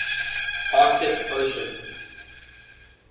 arctic ocean